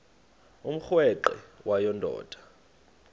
umrweqe wayo yoonda